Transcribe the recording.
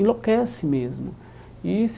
Enlouquece mesmo e isso.